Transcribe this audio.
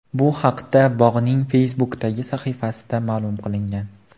Bu haqda bog‘ning Facebook’dagi sahifasida ma’lum qilingan .